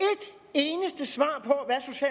eneste svar